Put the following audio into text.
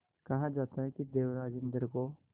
कहा जाता है कि देवराज इंद्र को